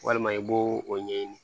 Walima i b'o o ɲɛɲini